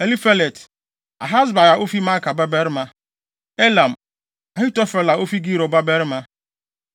Elifelet, Ahasbai a ofi Maaka babarima; Eliam, Ahitofel a ofi Gilo babarima;